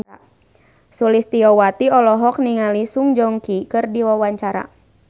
Sulistyowati olohok ningali Song Joong Ki keur diwawancara